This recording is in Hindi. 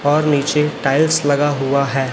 और नीचे टाइल्स लगा हुआ है।